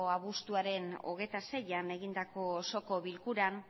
abuztuaren hogeita seian egindako osoko bilkuran